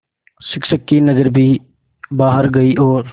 शिक्षक की नज़र भी बाहर गई और